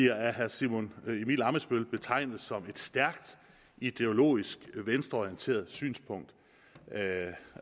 af herre simon emil ammitzbøll bliver betegnet som et stærkt ideologisk venstreorienteret synspunkt